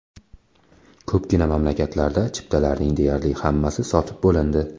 Ko‘pgina mamlakatlarda chiptalarning deyarli hammasi sotib bo‘lindi.